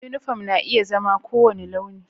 Uniform na iya zama kowane launi